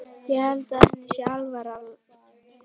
Ég held að henni sé alvara.